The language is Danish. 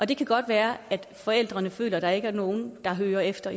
det kan godt være at forældrene føler at der ikke er nogen der hører efter